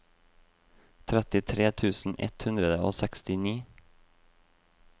trettitre tusen ett hundre og sekstini